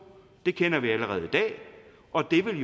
det kender vi allerede i dag og det vil